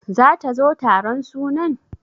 Zata zo taron sunan?